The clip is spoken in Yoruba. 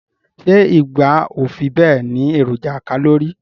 Se igba o fi be ni eroja kalori